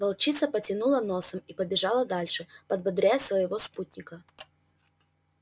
волчица потянула носом и побежала дальше подбодряя своего спутника